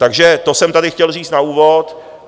Takže to jsem tady chtěl říct na úvod.